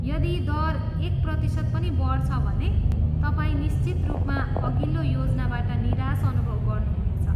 यदि दर एक प्रतिशत पनि बढ्छ भने तपाईँ निश्चित रूपमा अघिल्लो योजनाबाट निराशा अनुभव गर्नुहुनेछ।